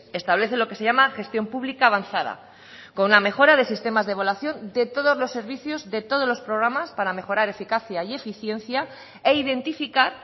establece lo que se llama gestión pública avanzada con una mejora de sistemas de evaluación de todos los servicios de todos los programas para mejorar eficacia y eficiencia e identificar